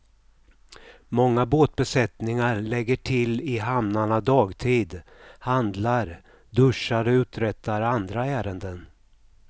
Många båtbesättningar lägger till i hamnarna dagtid, handlar, duschar och uträttar andra ärenden.